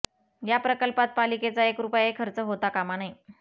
या प्रकल्पात पालिकेचा एक रुपयाही खर्च होता कामा नये